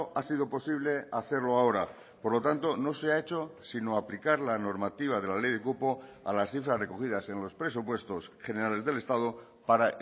ha sido posible hacerlo ahora por lo tanto no se ha hecho sino aplicar la normativa de la ley de cupo a las cifras recogidas en los presupuestos generales del estado para